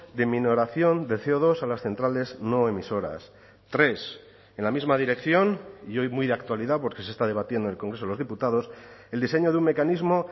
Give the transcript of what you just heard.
de minoración de ce o dos a las centrales no emisoras tres en la misma dirección y hoy muy de actualidad porque se está debatiendo en el congreso de los diputados el diseño de un mecanismo